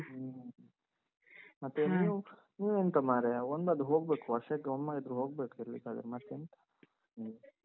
ಹ್ಮ ನೀವೆಂತ ಮಾರಾಯ, ಒಂದಾದ್ರೂ ಹೋಗ್ಬೇಕು, ವರ್ಷಕ್ಕೆ ಒಮ್ಮೆಯಾದ್ರೂ ಹೋಗ್ಬೇಕು ತಿರುಗ್ಲಿಕ್ಕಾದ್ರೆ . ಹ್ಮ.